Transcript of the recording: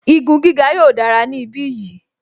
Igun gíga yóò dára ní ibi bí yìí